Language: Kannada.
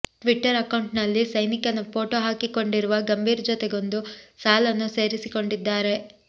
ಟ್ವಿಟರ್ ಅಕೌಂಟ್ನಲ್ಲಿ ಸೈನಿಕನ ಫೋಟೋ ಹಾಕಿಕೊಂಡಿರುವ ಗಂಭೀರ್ ಜೊತೆಗೊಂದು ಸಾಲನ್ನೂ ಸೇರಿಸಿಕೊಂಡಿದ್ದಾರೆ